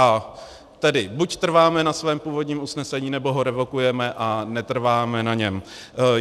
A tedy, buď trváme na svém původním usnesení, nebo ho revokujeme a netrváme na něm.